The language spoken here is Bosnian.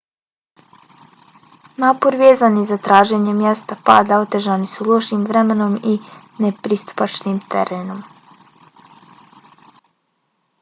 napori vezani za traženje mjesta pada otežani su lošim vremenom i nepristupačnim terenom